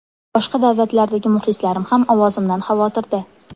Boshqa davlatlardagi muxlislarim ham ovozimdan xavotirda.